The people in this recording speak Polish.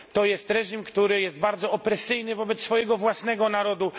To reżim, który jest bardzo opresyjny wobec swojego własnego narodu.